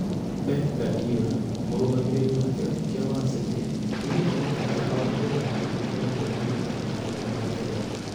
Pep Guardiola: mũrũgamĩrĩri wa kĩrabu kĩa Man City nĩoigĩte mũtaratara wa mĩthako nĩukoretwo wĩna mũtaratara mwega Ngeretha.